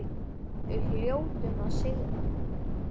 Við hljótum að sigra